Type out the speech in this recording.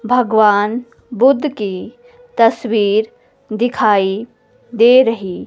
भगवान बुद्ध की तस्वीर दिखाई दे रही--